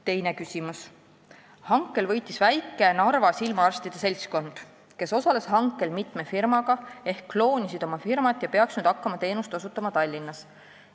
Teine küsimus: "Hankel võitis väike Narva silmaarstide seltskond, kes osales hankel mitme firmaga ehk kes kloonisid oma firmat ja peaks nüüd hakkama teenust osutama Tallinnas.